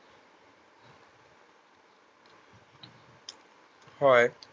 হয়